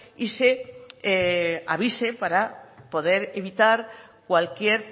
y se avise para poder evitar cualquier